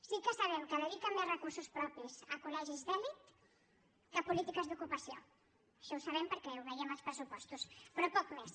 sí que sabem que dediquen més recursos propis a col·legis d’elit que a polítiques d’ocupació això ho sabem perquè ho veiem als pressupostos però poc més